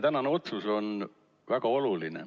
Tänane otsus on väga oluline.